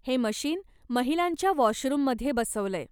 हे मशीन महिलांच्या वाॅशरूममध्ये बसवलंय.